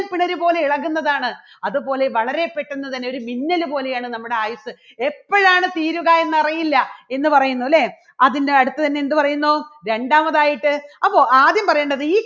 പിണര് പോലെ ഇളകുന്നതാണ്. അതുപോലെ വളരെ പെട്ടെന്ന് തന്നെ ഒരു മിന്നല് പോലെയാണ് നമ്മുടെ ആയുസ്സ് എപ്പോഴാണ് തീരുക എന്ന് അറിയില്ല എന്ന് പറയുന്നു അല്ലേ. അതിൻറെ അടുത്ത് തന്നെ എന്തുപറയുന്നു രണ്ടാമതായിട്ട് അപ്പൊ ആദ്യം പറയേണ്ടത് ഈ